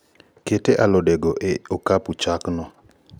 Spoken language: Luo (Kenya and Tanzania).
Ket alode go e okapu chak no